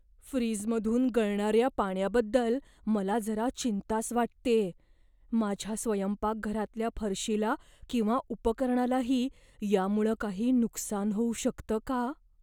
फ्रीजमधून गळणाऱ्या पाण्याबद्दल मला जरा चिंताच वाटतेय माझ्या स्वयंपाकघरातल्या फरशीला किंवा उपकरणालाही यामुळं काही नुकसान होऊ शकतं का?